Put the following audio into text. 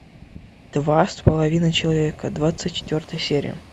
два с половиной человека двадцать четвертая серия